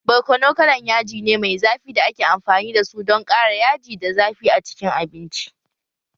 Barkono kalan yaji ne mai zafi da ake amfani da su don ƙara yaji da zafi a cikin abinci